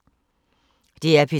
DR P3